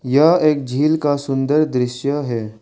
यह एक झील का सुन्दर दृश्य है।